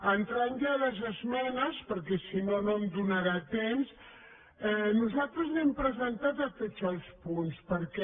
entrant ja a les esmenes perquè si no no em donarà temps nosaltres n’hem presentat a tots els punts perquè